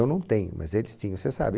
Eu não tenho, mas eles tinham, você sabe.